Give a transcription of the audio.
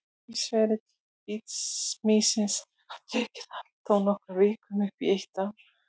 Lífsferill bitmýsins getur tekið allt frá nokkrum vikum upp í eitt ár.